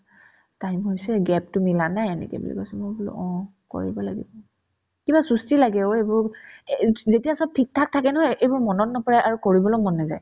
time হৈছে gap তো মিলা নাই এনেকে বুলি কৈছে মই বোলো অ কৰিব লাগিব কিবা চুস্তি লাগে অ এইবোৰ এ ~ এই যেতিয়া চব থিকথাক থাকে নহয় এইবোৰ মনত নপৰে আৰু কৰিবলৈ মন নাযায়